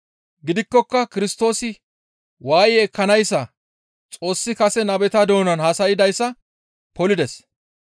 Gidikkoka Kirstoosi waaye ekkanayssa Xoossi kase nabeta doonan haasaydayssa polides.